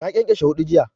Ta ƙyanƙyashe huɗu jiya